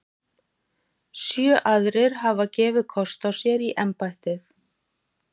Sjö aðrir hafa gefið kost á sér í embættið.